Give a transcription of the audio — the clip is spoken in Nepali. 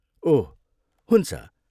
ओह हुन्छ।